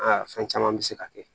Aa fɛn caman bɛ se ka kɛ